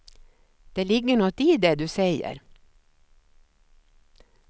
Det ligger nåt i det du säger.